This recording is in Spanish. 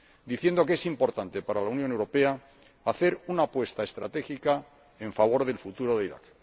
diciendo que es importante para la Unión Europea hacer una apuesta estratégica en favor del futuro de Irak.